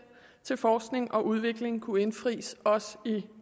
til forskning og udvikling kunne indfries også i